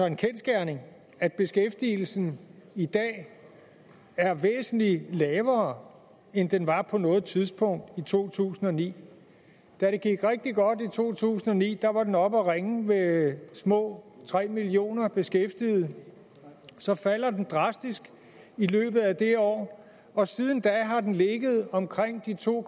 en kendsgerning at beskæftigelsen i dag er væsentlig lavere end den var på noget tidspunkt i to tusind og ni da det gik rigtig godt i to tusind og ni var den oppe at ringe med små tre millioner beskæftigede så falder den drastisk i løbet af det år og siden da har den ligget omkring de to